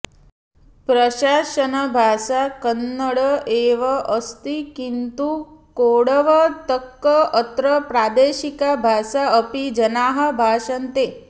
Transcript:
प्रशासनभाषा कन्नड एव अस्ति किन्तु कोडवतक्क् अत्र प्रादेशिका भाषा अपि जनाः भाषन्ते